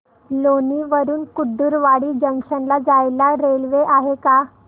लोणी वरून कुर्डुवाडी जंक्शन ला जायला रेल्वे आहे का